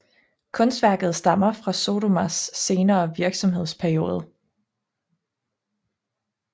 Kunstværket stammer fra Sodomas senere virksomhedsperiode